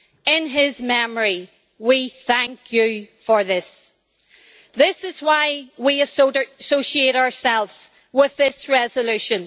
In his memory, we thank you for this. This is why we associate ourselves with this resolution.